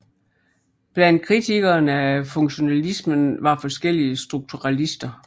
Blandt kritikerne af funktionalismen var forskellige strukturalister